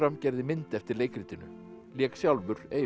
gerði mynd eftir leikritinu og lék sjálfur Eyvind